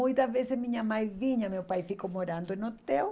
Muitas vezes minha mãe vinha, meu pai ficou morando no hotel,